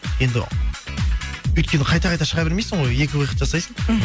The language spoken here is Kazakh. енді өйткені қайта қайта шыға бермейсің ғой екі выход жасайсың мхм